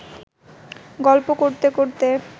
গল্প করতে করতে